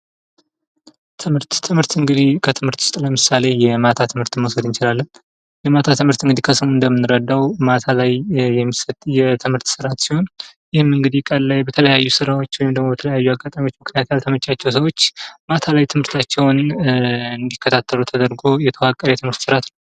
ትምህርት ። ትምህርት እንግዲህ ከትምህርት ውስጥ ለምሳሌ የማታ ትምህርትን መውሰድ እንችላለን የማታ ትምህርት እንግዲህ ከስሙ እንደምንረዳው ማታ ላይ የሚሰጥ የትምህርት ስርዓት ሲሆን ይህም እንግዲህ ቀን ላይ በተለያዩ ስራዎች ወይም ደግሞ በተለያዩ አጋጣሚዎች ምክንያት ያልተመቻቸው ሰዎች ማታ ላይ ትምህርታቸውን እንዲከታተሉ ተደርጎ የተዋቀረ የትምህርት ስርዓት ነው ።